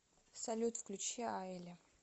салют включи айли